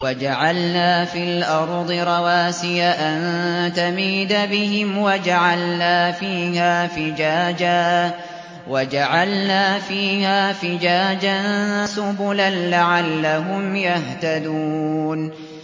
وَجَعَلْنَا فِي الْأَرْضِ رَوَاسِيَ أَن تَمِيدَ بِهِمْ وَجَعَلْنَا فِيهَا فِجَاجًا سُبُلًا لَّعَلَّهُمْ يَهْتَدُونَ